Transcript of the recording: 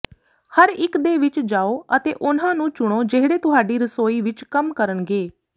ਹਰ ਇੱਕ ਦੇ ਵਿੱਚ ਜਾਓ ਅਤੇ ਉਨ੍ਹਾਂ ਨੂੰ ਚੁਣੋ ਜਿਹੜੇ ਤੁਹਾਡੀ ਰਸੋਈ ਵਿੱਚ ਕੰਮ ਕਰਨਗੇ